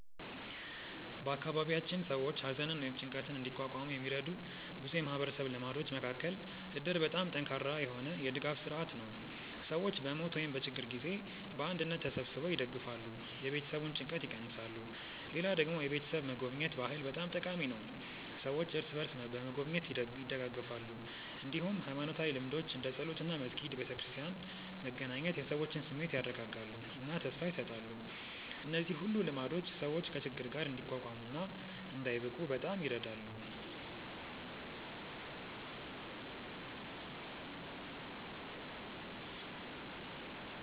በአካባቢያችን ሰዎች ሐዘንን ወይም ጭንቀትን እንዲቋቋሙ የሚረዱ ብዙ የማህበረሰብ ልማዶች መካከል እድር በጣም ጠንካራ የሆነ የድጋፍ ስርዓት ነው፤ ሰዎች በሞት ወይም በችግር ጊዜ በአንድነት ተሰብስበው ይደግፋሉ፣ የቤተሰቡን ጭንቀት ይቀንሳሉ። ሌላ ደግሞ የቤተሰብ መጎብኘት ባህል በጣም ጠቃሚ ነው፤ ሰዎች እርስ በርስ በመጎብኘት ይደጋገፋሉ። እንዲሁም ሃይማኖታዊ ልምዶች እንደ ጸሎት እና መስጊድ/ቤተክርስቲያን መገናኘት የሰዎችን ስሜት ያረጋጋሉ እና ተስፋ ይሰጣሉ። እነዚህ ሁሉ ልማዶች ሰዎች ከችግር ጋር እንዲቋቋሙ እና እንዳይብቁ በጣም ይረዳሉ።